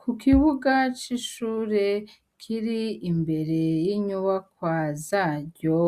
Ku kibuga c'ishure kiri imbere y'inyuba kwa zaryo